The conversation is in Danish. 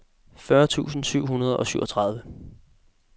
fyrre tusind syv hundrede og syvogtredive